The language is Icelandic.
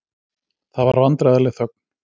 Það var vandræðaleg þögn.